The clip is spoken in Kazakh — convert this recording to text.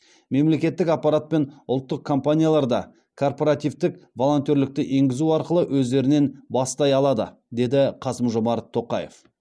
мемлекеттік аппарат пен ұлттық компаниялар да корпоративтік волонтерлікті енгізу арқылы өздерінен бастай алады деді қасым жомарт тоқаев